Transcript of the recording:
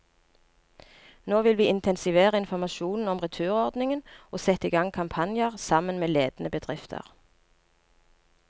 Nå vil vi intensivere informasjonen om returordningen og sette i gang kampanjer, sammen med ledende bedrifter.